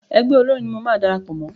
Ẹgbẹ́ olórin ni mo máa darapọ̀ mọ́.